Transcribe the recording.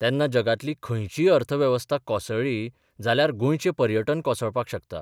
तेन्ना जगांतली खंयचीय अर्थवेवस्था कोसळ्ळी जाल्यार गोंयचें पर्यटन कोसळपाक शकता.